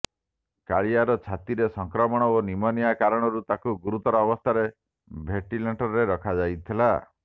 କାଳିଆର ଛାତିରେ ସଂକ୍ରମଣ ଓ ନିମୋନିଆ କାରଣରୁ ତାକୁ ଗୁରୁତର ଅବସ୍ଥାରେ ଭେଂଟିଲେଟରରେ ରଖାଯାଇଥିଲା